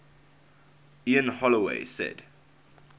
ian holloway said